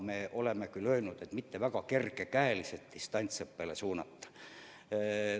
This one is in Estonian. Me oleme küll öelnud, et ei maksa lapsi kergekäeliselt distantsõppele saata.